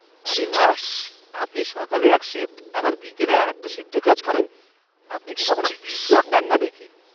আরে বাহ্! আপনি সকালে এক শিফ্ট আবার বিকেলে আরেকটা শিফ্ট কাজ করেন! আপনি কি কখনও বিশ্রামও নেন না নাকি?